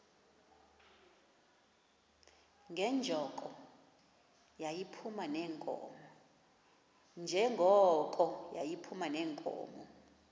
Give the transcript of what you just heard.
njengoko yayiphuma neenkomo